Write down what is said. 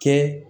Kɛ